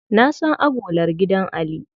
Na san agolar gidan Ali.